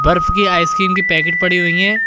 बर्फ की आइसक्रीम की पैकेट पड़ी हुई हैं।